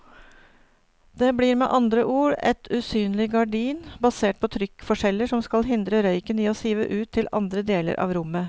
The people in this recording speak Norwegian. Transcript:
Det blir med andre ord et usynlig gardin basert på trykkforskjeller som skal hindre røyken i å sive ut til andre deler av rommet.